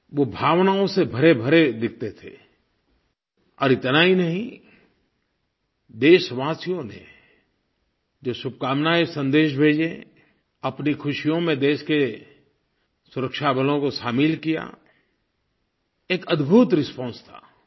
वो भावनाओं से भरेभरे दिखते थे और इतना ही नहीं देशवासियों ने जो शुभकामनायेंसन्देश भेजे अपनी ख़ुशियों में देश के सुरक्षा बलों को शामिल किया एक अद्भुत रिस्पांस था